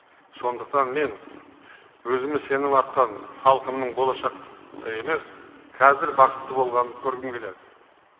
сондықтан мен өзіме сенім артқан халқымның болашақты емес қазір бақытты болғанын көргім келеді